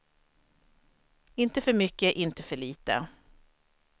Inte för mycket, inte för lite.